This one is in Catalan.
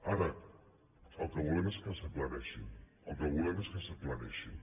ara el que volem és que s’aclareixin el que volem és que s’aclareixin